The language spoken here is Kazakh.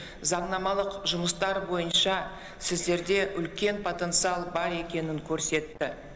заңнамалық жұмыстар бойынша сіздерде үлкен потенциал бар екенін көрсетті